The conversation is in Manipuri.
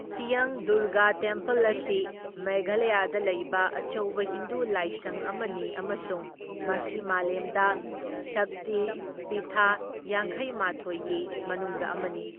ꯅꯥꯔꯇꯤꯌꯪ ꯗꯨꯔꯒꯥ ꯇꯦꯝꯄꯜ ꯑꯁꯤ ꯃꯦꯘꯥꯂꯌꯥꯗ ꯂꯩꯕ ꯑꯆꯧꯕ ꯍꯤꯟꯗꯨ ꯂꯥꯏꯁꯪ ꯑꯃꯅꯤ ꯑꯃꯁꯨꯡ ꯃꯁꯤ ꯃꯥꯂꯦꯝꯗ ꯁꯛꯇꯤ ꯄꯤꯊꯥ ꯌꯥꯡꯈꯩꯃꯥꯊꯣꯢꯒꯤ ꯃꯅꯨꯡꯗ ꯑꯃꯅꯤ꯫